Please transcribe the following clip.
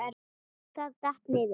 Það datt. niður.